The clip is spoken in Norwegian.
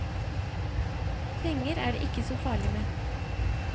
Penger er det ikke så farlig med.